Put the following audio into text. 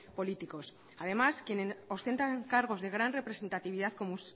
políticos además quienes ostentan cargos de gran representatividad como